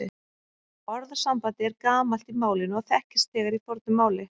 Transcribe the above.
Orðasambandið er gamalt í málinu og þekkist þegar í fornu máli.